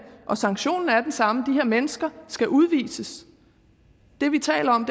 og sanktionen er den samme de her mennesker skal udvises det vi taler om